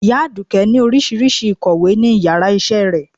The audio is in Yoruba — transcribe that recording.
Iya aduke ni oríṣiriṣi ikọwé ni iyara isé rẹ